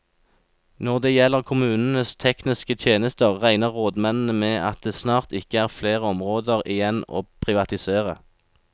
Når det gjelder kommunenes tekniske tjenester, regner rådmennene med at det snart ikke er flere områder igjen å privatisere.